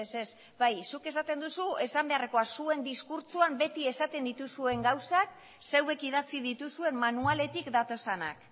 ez bai zuk esaten duzu esan beharreko zuen diskurtsoan beti esaten dituzuen gauzak zuek idatzi dituzuen manualetik datozenak